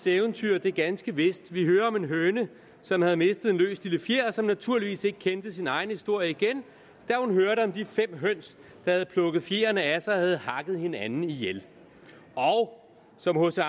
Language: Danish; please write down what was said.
eventyr det er ganske vist vi hører om en høne som havde mistet en løs lille fjer og som naturligvis ikke kendte sin egen historie igen da hun hørte om de fem høns der havde plukket fjerene af sig og havde hakket hinanden ihjel og som hc